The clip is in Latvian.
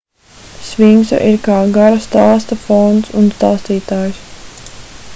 sfinksa ir kā gara stāsta fons un stāstītājs